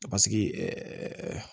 Paseke